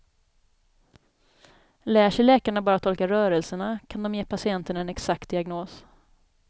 Lär sig läkarna bara tolka rörelserna kan de ge patienten en exakt diagnos.